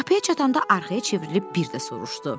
Qapıya çatanda arxaya çevrilib bir də soruşdu.